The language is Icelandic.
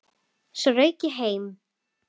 Svo rauk ég heim.